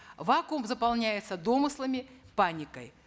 вакуум заполняется домыслами паникой